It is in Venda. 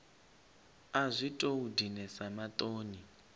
a zwi tou dinesa maṱoni